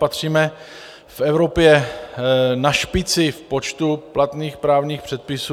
Patříme v Evropě na špici v počtu platných právních předpisů.